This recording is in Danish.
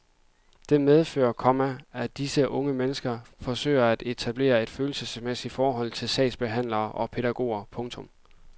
Det medfører, komma at disse unge forsøger at etablere et følelsesmæssigt forhold til sagsbehandlere og pædagoger. punktum